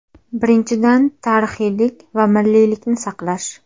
Birinchidan, tarixiylik va milliylikni saqlash.